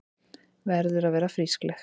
Verður að vera frískleg.